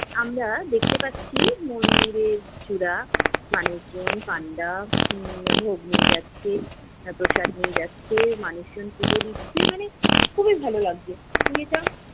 আমরা দেখতে পাচ্ছি মন্দিরের চূড়া, মানুষজন, হম ভোগ নিয়ে যাচ্ছে, প্রসাদ নিয়ে যাচ্ছে মানুষজন পুজো দিচ্ছে মানে, খুবই ভালো লাগছে। যেটা